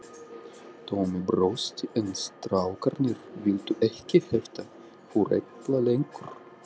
Tommi brosti en strákarnir viltu ekki hefta för Ella lengur.